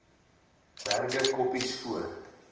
berge koppies voor